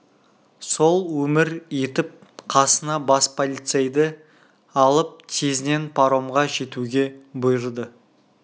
сол өмір етіп қасына бас полицейді алып тезінен паромға жетуге бұйырды